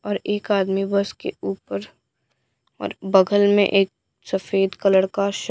और एक आदमी बस के ऊपर और बगल में एक सफेद कलर का श--